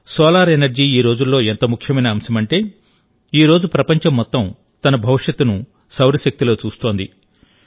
solar energy ఈరోజుల్లో ఎంత ముఖ్యమైన అంశమంటే ఈరోజు ప్రపంచం మొత్తం తన భవిష్యత్తును సౌరశక్తిలో చూస్తోంది